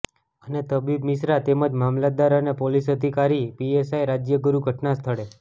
અને તબીબ મિશ્રા તેમજ મામલતદાર અને પોલીસ અધિકારી પીએસઆઇ રાજ્યગુરૂ ઘટનાસ્થળે